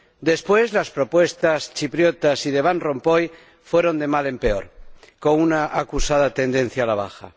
Después, las propuestas chipriotas y de Van Rompuy fueron de mal en peor, con una acusada tendencia a la baja.